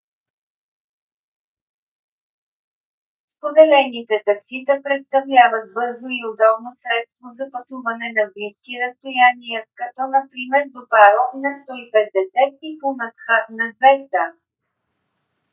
споделените таксита представляват бързо и удобно средство за пътуване на близки разстояния като например до паро nu 150 и пунакха nu 200